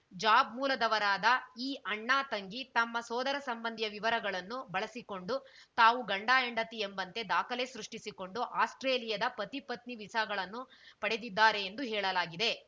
job ಮೂಲದವರಾದ ಈ ಅಣ್ಣತಂಗಿ ತಮ್ಮ ಸೋದರ ಸಂಬಂಧಿಯ ವಿವರಗಳನ್ನು ಬಳಸಿಕೊಂಡು ತಾವು ಗಂಡಹೆಂಡತಿ ಎಂಬಂತೆ ದಾಖಲೆ ಸೃಷ್ಟಿಸಿಕೊಂಡು ಆಸ್ಪ್ರೇಲಿಯಾದ ಪತಿಪತ್ನಿ ವೀಸಾಗಳನ್ನು ಪಡೆದಿದ್ದಾರೆ ಎಂದು ಹೇಳಲಾಗಿದೆ